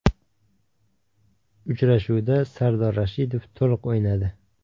Uchrashuvda Sardor Rashidov to‘liq o‘ynadi.